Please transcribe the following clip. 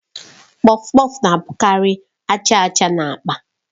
Kpọfkpọf na-abụkarị aja aja na agba